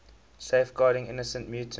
safeguarding innocent mutants